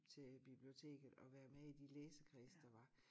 Til biblioteket og være med i de læsekredse der var